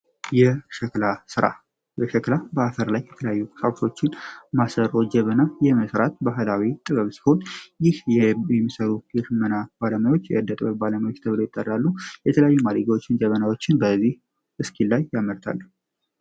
የሸክላ በአፈር ላይ የተላያዩ ሳኩሶችን ማሰሮ ጀበና የመስራት በአህላዊ ጥበብ ስሆን ይህ የየምሰሩ ይርመና ባረማዎች የእደጥወር ባለማዊች ተብሎ ይጠራሉ የተለያዩ ማሬጋዎችን ጀበናዎችን በዚህ እስኪ ላይ ያመርታል።